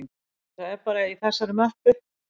En það er bara í þessari möppu